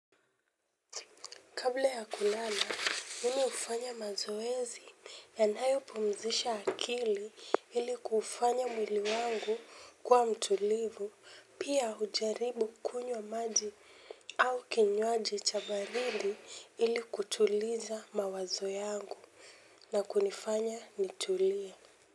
Kabla ya kulala mimi hufanya mazoezi yanayo pumzisha akili ili kuufanya mwili wangu kuwa mtulivu pia hujaribu kunywa maji au kinywaji cha baridi ili kutuliza mawazo yangu na kunifanya nitulie.